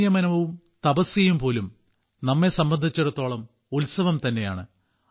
സംയമനവും തപസ്യയും പോലും നമ്മെ സംബന്ധിച്ചിടത്തോളം ഉത്സവം തന്നെയാണ്